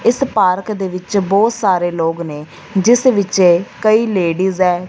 ਇਸ ਪਾਰਕ ਦੇ ਵਿੱਚ ਬਹੁਤ ਸਾਰੇ ਲੋਕ ਨੇ ਜਿਸ ਵਿੱਚ ਕਈ ਲੇਡੀਜ ਐ।